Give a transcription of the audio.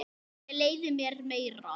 Ég leyfi mér meira.